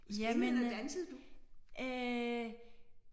Jamen øh